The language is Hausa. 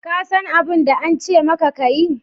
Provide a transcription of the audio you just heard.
Ka san abun da an ce maka ka yi